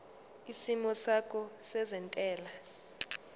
isimo sakho sezentela